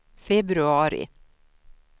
februari